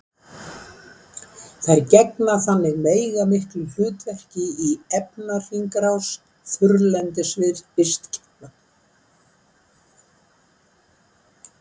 Þær gegna þannig veigamiklu hlutverki í efnahringrás þurrlendis vistkerfa.